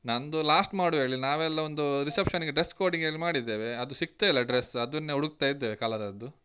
ನಂದು last ಮಾಡುವ ಹೇಳಿ. ನಾವ್ ಎಲ್ಲ ಒಂದು reception ಗೆ dress coding ಹೇಳಿ ಮಾಡಿದೆವೆ ಅದು ಸಿಗ್ತಾ ಇಲ್ಲ dress ಅದನ್ನೇ ಹುಡಕ್ತಾ ಇದ್ದೇವೆ colour ಅದ್ದು.